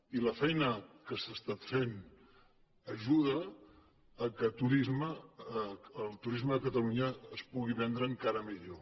i la feina que s’ha estat fent ajuda que el turisme de catalunya es pugui vendre encara millor